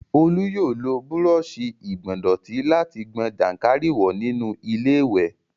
Olú yóò lo búrọọṣì ìgbọ̀ndọ̀tí láti gbọn jàǹkáríwọ̀ nínú iléwẹ̀